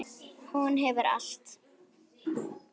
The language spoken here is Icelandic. Hún hefur allt.